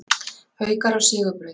Haukar á sigurbraut